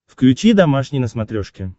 включи домашний на смотрешке